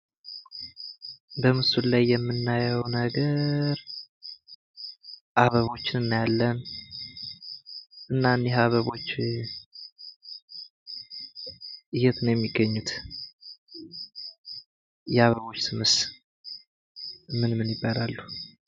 በምስሉ ላይ የምናየው ነገር አበቦችን እናያለን። እናም ይሄ አበቦች የት ነው የሚገኙት? የአበቦች ስብስብ ምንምን ይባላሉ?